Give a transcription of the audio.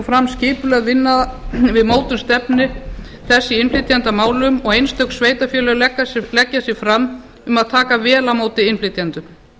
fram skipulögð vinna við mótun stefnu þess í innflytjendamálum og einstök sveitarfélög leggja sig fram um að taka vel á móti innflytjendum